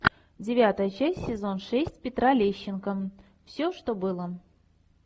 девятая часть сезон шесть петра лещенко все что было